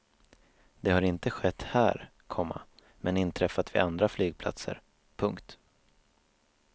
Det har inte skett här, komma men inträffat vid andra flygplatser. punkt